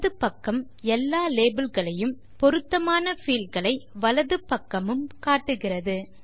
இடது பக்கம் எல்லா லேபல் களையும் பொருத்தமான பீல்ட் களை வலது பக்கமும் காட்டுகிறது